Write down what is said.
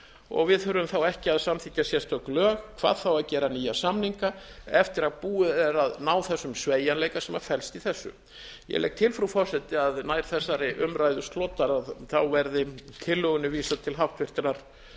og við þurfum þá ekki að samþykkja sérstök lög hvað þá að gera nýja samninga eftir að búið er að ná þessum sveigjanleika sem felst í þessu ég legg til frúhú forseti að nær þessari umræðu slotar verði tillögunni vísað til háttvirtrar